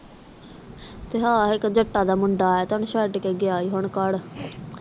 ਤੇ ਹਾਂ ਇਕ ਜੱਟਾ ਦਾ ਮੁੰਡਾ ਆਯਾ ਤੇ ਹੁੱਬ ਓਹਨੂੰ ਛੱਡ ਕੇ ਗਿਆ ਹੀ ਘਰ